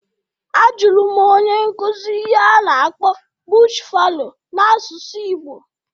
A jụrụ m onye nkuzi ihe a na-akpọ "bush fallow" n'asụsụ igbo